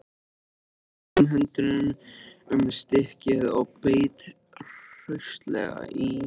Hann tók báðum höndum um stykkið og beit hraustlega í.